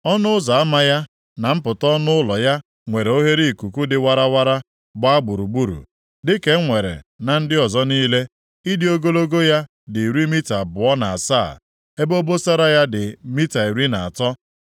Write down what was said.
Ọnụ ụzọ ama ya na mpụta ọnụ ụlọ ya nwere oghereikuku dị warawara gbaa gburugburu, dịka e nwere na ndị ọzọ niile. Ịdị ogologo ya dị iri mita abụọ na asaa, ebe obosara ya dị mita iri na atọ